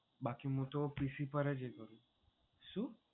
બાકી હું તો PC પર જ શું?